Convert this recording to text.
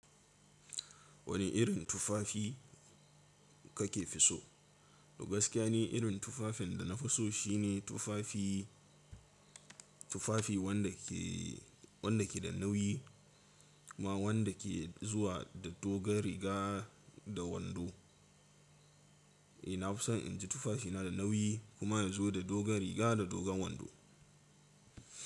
Wani irin tufafi kake so? Gaskiya ni irin tufafin da na fi so shine tufafi, tufafi wanda ke, wanda ke da nauyi kuma wanda ke zuwa da doguwar riga da wando. Eh na fi son in ji tufafina da nauyi kuma ya zo da dogar riga da dogon wando.